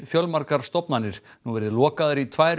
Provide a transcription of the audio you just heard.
fjölmargar stofnanir nú verið lokaðar í tvær